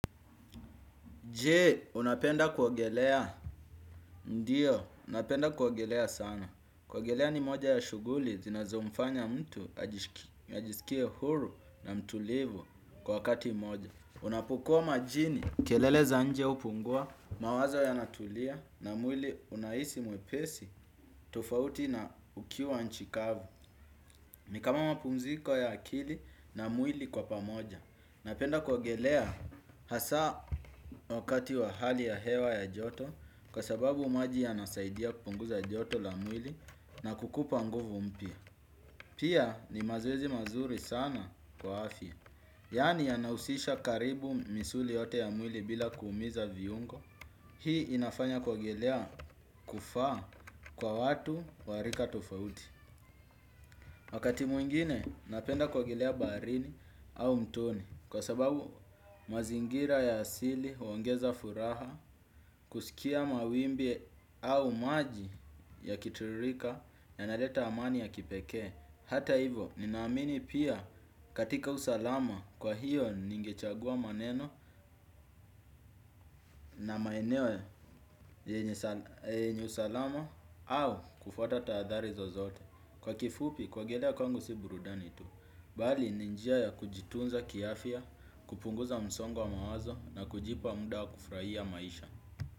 Je, unapenda kuogelea? Ndio, napenda kuogelea sana. Kuogelea ni moja ya shughuli, zinazomfanya mtu, ajisikie huru na mtulivu kwa wakati mmoja. Unapokuwa majini, kelele za nje hupungua, mawazo yanatulia na mwili unahisi mwepesi, tofauti na ukiwa nchi kavu. Ni kama mapumziko ya akili na mwili kwa pamoja. Napenda kuogelea hasa wakati wa hali ya hewa ya joto kwa sababu maji yanasaidia kupunguza joto la mwili na kukupa nguvu mpya. Pia ni mazoezi mazuri sana kwa afya. Yaani yanahusisha karibu misuli yote ya mwili bila kuumiza viungo. Hii inafanya kuogelea kufaa kwa watu wa rika tofauti wakati mwingine napenda kuogelea baharini au mtoni kwa sababu mazingira ya asili huongeza furaha kusikia mawimbi au maji yakititirika yanaleta amani ya kipekee hata hivyo, ninaamini pia katika usalama kwa hiyo ningechagua maneno na maeneo yenye usalama au kufuata tahadhari zozote. Kwa kifupi, kuogelea kwangu si burudani tu. Bali ni njia ya kujitunza kiafya, kupunguza msongo wa mawazo na kujipa muda wa kufurahia maisha.